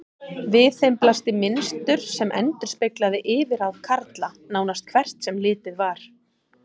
Við þeim blasti mynstur sem endurspeglaði yfirráð karla, nánast hvert sem litið var.